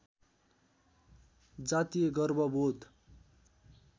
जातीय गर्व बोध